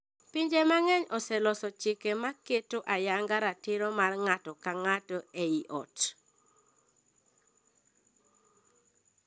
Pinje mang’eny oseloso chike ma keto ayanga ratiro mar ng’ato ka ng’ato ei joot.